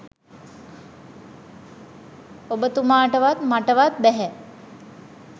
ඔබතුමාටවත් මටවත් බැහැ